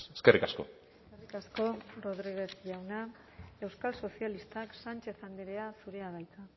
eskerrik asko eskerrik asko rodriguez jauna euskal sozialistak sánchez andrea zurea da hitza